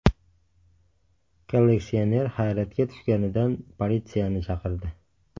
Kolleksioner hayratga tushganidan politsiyani chaqirdi.